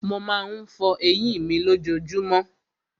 Mo má ń fọ eyín mi lójojúmọ́.